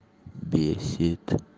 бесит